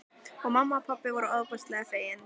Og mamma og pabbi voru ofboðslega fegin.